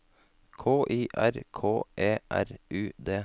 K I R K E R U D